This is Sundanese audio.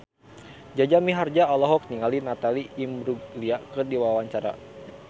Jaja Mihardja olohok ningali Natalie Imbruglia keur diwawancara